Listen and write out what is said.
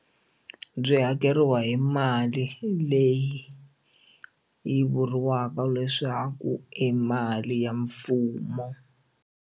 Byi hakeriwa hi mali leyi yi vuriwaka leswaku i mali ya mfumo.